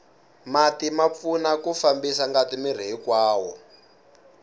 mati ma pfuna ku fambisa ngati miri hinkwawo